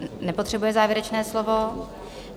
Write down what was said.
Nepotřebuje závěrečné slovo.